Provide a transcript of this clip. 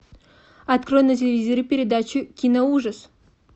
открой на телевизоре передачу киноужас